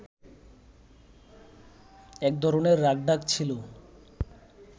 এক ধরনের রাখঢাক ছিল